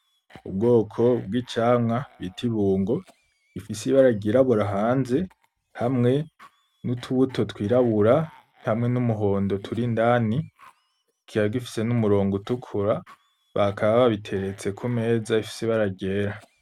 Ubwoko bw'icamwa bita ibungo , rifise ibara ryirabura hanze, hamwe nutubuto twirabura , hamwe numuhondo turi indani, kikaba gifise n'umurongo utukura bakaba babiteretse kumeza ifise ibara ryera.